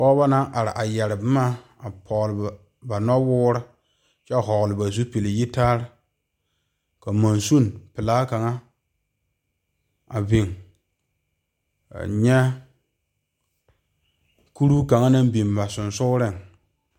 Pɔgeba naŋ are a yeere boma poɔ ba noɔ woɔre kyɛ vɔgle ba zupele yitaara ka magsine pelaa kaŋa a biŋ a nyɛ Kuro kaŋa naŋ biŋ ba sonsogle.